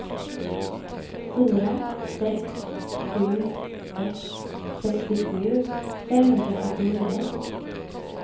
fyra sex sju ett sextiosju femhundrasjuttionio